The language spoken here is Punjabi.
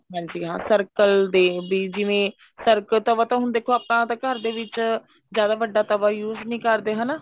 ਹਾਂਜੀ ਹਾਂ circle ਦੇ ਲਈ ਜਿਵੇਂ circle ਤਾਂ ਪਤਾ ਹੁਣ ਦੇਖੋ ਆਪਾਂ ਘਰਦੇ ਵਿੱਚ ਜਿਆਦਾ ਵੱਡਾ ਤਵਾ use ਨੀ ਕਰਦੇ ਹਨਾ